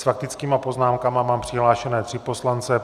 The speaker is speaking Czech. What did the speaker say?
S faktickými poznámkami mám přihlášené tři poslance.